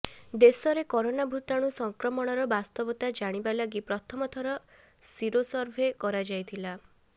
ଦେଶରେ କରୋନା ଭୂତାଣୁ ସଂକ୍ରମଣର ବାସ୍ତବତା ଜାଣିବା ଲାଗି ପ୍ରଥମ ଥର ସିରୋସର୍ଭେ କରାଯାଇଥିଲା